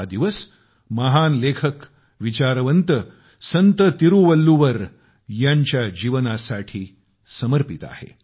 हा दिवस महान लेखकविचारवंत संत तिरुवल्लुवर यांच्या जीवनासाठी समर्पित आहे